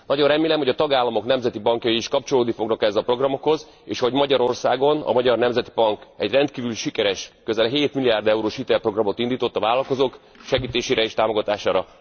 Nagyon remélem, hogy a tagállamok nemzeti bankjai is kapcsolódni fognak ezekhez a programokhoz. Magyarországon a Magyar Nemzeti Bank rendkívül sikeres, közel 7 milliárd eurós hitelprogramot indított a vállalkozók segítésére és támogatására.